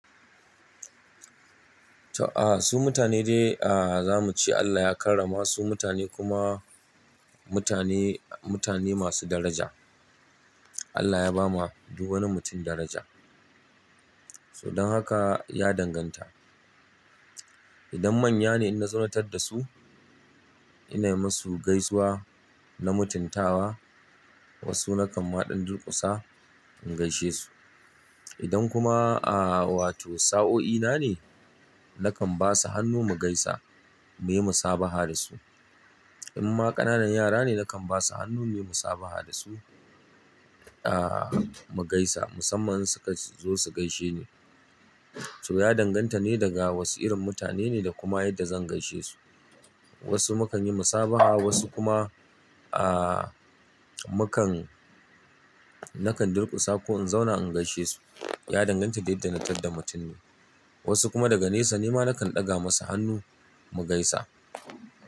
To, a, su mutane de, a, za mu ce Allah ya karrama su mutane kuma mutane, mutane masu daraja. Allah ya ba ma duk wani mutum daraja. So don haka ya danganta. Idan manya ne ina zo na tadda su, ina yi musu gaisuwa na mutuntawa. Wasu na kan maɗan durƙusa in gaishe su. Idan kuma, a, wato sa'o'i na ne, na kan ba su hannu mu gaisa, mu yi musabaha da su. In ma ƙananan yara ne, na kan ba su hannu ne mu yi saɓaha da su, a, mu gaisa musamman in su ka zo su gaishe ni. To ya danganta ne daga wasu irin mutane ne da kuma yadda zan gaishe su. Wasu mu kan yi musabaha, wasu kuma, a, mu kan-- na kan durƙusa ko in zauna in gaishe su. Ya danganta da yadda na tadda mutum ne. Wasu kuma daga nesa nema na kan ɗaga musu hannu mu gaisa.